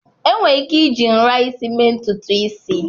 Enwere ike iji nra isi mee ntutu isi.